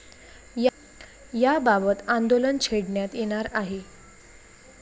याबाबत आंदोलन छेडण्यात येणार आहे.